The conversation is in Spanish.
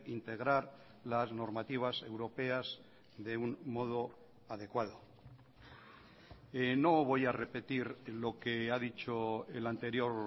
integrar las normativas europeas de un modo adecuado no voy a repetir lo que ha dicho el anterior